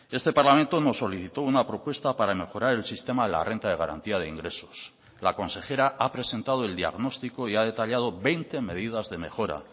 este parlamento nos solicitó una propuesta para mejorar el sistema de la renta de garantía de ingresos la consejera ha presentado el diagnóstico y ha detallado veinte medidas de mejora